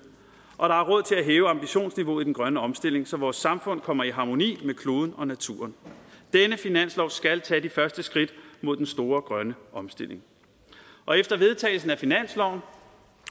og der er råd til at hæve ambitionsniveauet i den grønne omstilling så vores samfund kommer i harmoni med kloden og naturen denne finanslov skal tage de første skridt mod den store grønne omstilling og efter vedtagelsen af finansloven